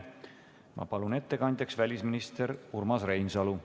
Ma palun ettekandjaks välisminister Urmas Reinsalu.